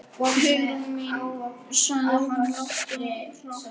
Hugrún mín- sagði hann lágt og hratt.